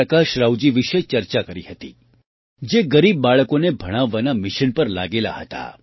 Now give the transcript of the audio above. પ્રકાશરાવજી વિશે ચર્ચા કરી હતી જે ગરીબ બાળકોને ભણાવવાના મિશન પર લાગેલા હતા